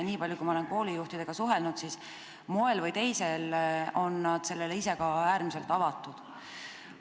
Niipalju kui ma olen koolijuhtidega suhelnud, võin öelda, et moel või teisel on nad sellele ise ka äärmiselt avatud.